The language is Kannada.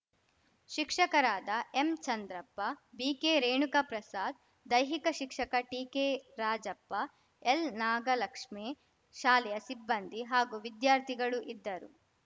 ಶಿಕ್ಷಕರಾದ ಎಂಚಂದ್ರಪ್ಪ ಬಿಕೆರೇಣುಕ ಪ್ರಸಾದ್‌ ದೈಹಿಕ ಶಿಕ್ಷಕ ಟಿಕೆರಾಜಪ್ಪ ಎಲ್‌ನಾಗಲಕ್ಷ್ಮೇ ಶಾಲೆಯ ಸಿಬ್ಬಂದಿ ಹಾಗೂ ವಿದ್ಯಾರ್ಥಿಗಳು ಇದ್ದರು